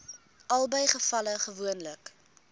albei gevalle gewoonlik